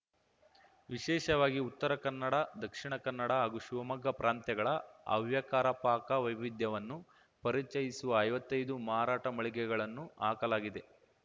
ವಿಶೇಷವಾಗಿ ಉತ್ತರ ಕನ್ನಡದಕ್ಷಿಣ ಕನ್ನಡ ಹಾಗೂ ಶಿವಮೊಗ್ಗ ಪ್ರಾಂತ್ಯಗಳ ಹವ್ಯಕರ ಪಾಕ ವೈವಿಧ್ಯವನ್ನು ಪರಿಚಯಿಸುವ ಐವತ್ತೈದು ಮಾರಾಟ ಮಳಿಗೆಗಳನ್ನು ಹಾಕಲಾಗಿದೆ